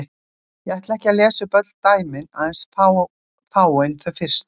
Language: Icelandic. Ég ætla ekki að lesa upp öll dæmin, aðeins fáein þau fyrstu: